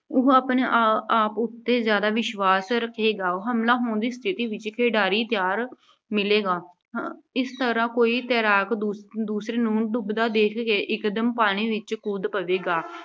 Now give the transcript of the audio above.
ਉਹ ਆਪਣੇ ਆਪ ਅਹ ਆਪ ਉੱਤੇ ਜ਼ਿਆਦਾ ਵਿਸ਼ਵਾਸ਼ ਰੱਖੇਗਾ। ਹਮਲਾ ਹੋਣ ਦੀ ਸਥਿਤੀ ਵਿੱਚ ਖਿਡਾਰੀ ਤਿਆਰ ਮਿਲੇਗਾ। ਅਹ ਇਸ ਤਰ੍ਹਾਂ ਇੱਕ ਤੈਰਾਕ ਦੂਸਰੇ ਨੂੰ ਡੁੱਬਦਾ ਦੇਖ ਕੇ ਇਕਦਮ ਪਾਣੀ ਵਿੱਚ ਕੁੱਦ ਪਵੇਗਾ।